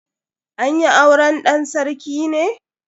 An yi auren dan sarki ne?